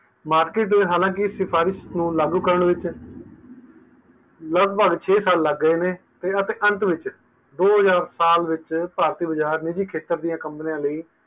market ਦੇ ਹਾਲੇ ਕੀ ਸਿਫਾਰਿਸ਼ ਨੂੰ ਲਾਗੂ ਲਗਭਗ ਛੇ ਸਾਲ ਲਾਗ ਗਈ ਨੇ ਅਤੇ ਅੰਤ ਵਿੱਚ ਦੋ ਹਜਾਰ ਸਾਲ ਵਿੱਚ ਭਾਰਤੀ ਖਤਰ ਦੀ companies ਲਈ